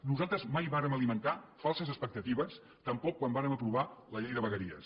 nosaltres mai vàrem alimentar falses expectatives tampoc quan vàrem aprovar la llei de vegueries